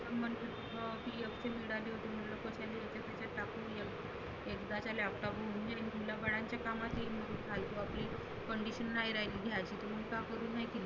मग म्हटलं PF चे मिळाले होते. एकदा त्या Laptop कामात येईल. permission नाही राहिली घ्यायची मग घेऊन टाकु हाय की नाही.